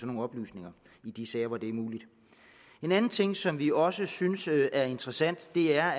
nogle oplysninger i de sager hvor det muligt en anden ting som vi også synes er interessant er